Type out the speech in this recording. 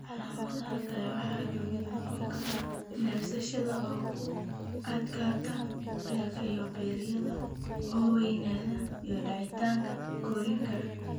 Calaamadaha kale waxaa ka mid noqon kara neefsashada oo ku adkaata, beerka iyo beeryarada oo weynaada (hepatosplenomegaly), iyo daahitaanka korriinka.